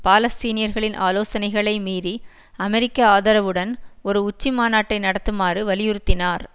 பாலஸ்தீனியர்களின் ஆலோசனைகளை மீறி அமெரிக்க ஆதரவுடன் ஒரு உச்சிமாநாட்டை நடத்துமாறு வலியுறுத்தினார்